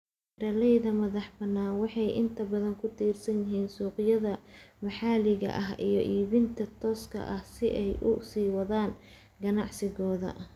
Beeralayda madaxbannaan waxay inta badan ku tiirsan yihiin suuqyada maxalliga ah iyo iibinta tooska ah si ay u sii wadaan ganacsigooda.